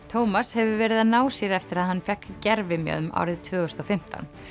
Tómas hefur verið að ná sér eftir að hann fékk árið tvö þúsund og fimmtán